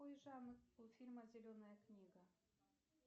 какой жанр у фильма зеленая книга